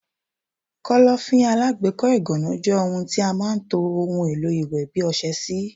Kọ́lọ́fín alágbèékọ́ ìgànná jẹ́ ohun tí a máa ń to ohun èlò iwe bi ọsẹ sí.